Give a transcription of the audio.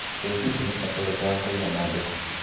ĩ hihi nĩ mbata ũrĩkũ wa kũĩnga mandĩko